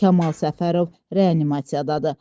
Kamal Səfərov reanimasiyadadır.